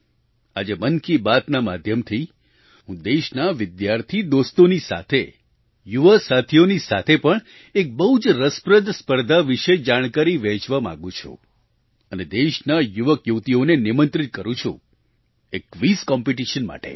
આજે મન કી બાતના માધ્યમથી હું દેશના વિદ્યાર્થી દોસ્તોની સાથે યુવા સાથીઓની સાથે પણ એક બહુ જ રસપ્રદ સ્પર્ધા વિશે જાણકારી વહેંચવા માગું છું અને દેશના યુવકયુવતીઓને નિમંત્રિત કરું છું એક ક્વિઝ કોમ્પિટિશન માટે